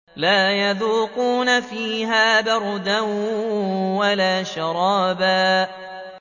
لَّا يَذُوقُونَ فِيهَا بَرْدًا وَلَا شَرَابًا